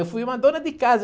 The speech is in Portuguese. Eu fui uma dona de casa.